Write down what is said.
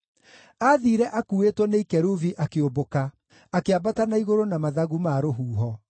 Aathiire akuuĩtwo nĩ ikerubi akĩũmbũka; akĩambata na igũrũ na mathagu ma rũhuho.